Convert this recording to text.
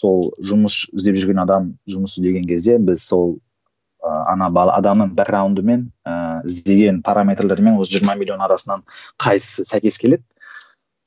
сол жұмыс іздеп жүрген адам жұмыс іздеген кезде біз сол ы ана бала адамның іздеген параметрлермен осы жиырма миллион арасынан қайсысы сәйкес келеді